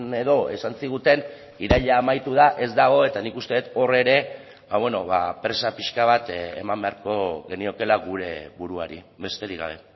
edo esan ziguten iraila amaitu da ez dago eta nik uste dut hor ere presa pixka bat eman beharko geniokeela gure buruari besterik gabe